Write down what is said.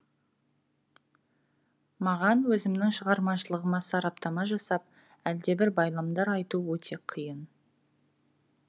маған өзімнің шығармашылығыма сараптама жасап әлдебір байламдар айту өте қиын